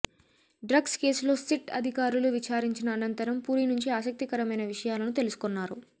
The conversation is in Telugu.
డ్రగ్స్ కేసులో సిట్ అధికారులు విచారించిన అనంతరం పూరీ నుంచి ఆసక్తికరమైన విషయాలను తెలుసుకొన్నారు